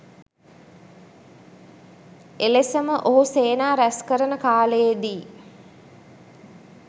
එලෙසම ඔහු සේනා රැස්කරන කාලයේදී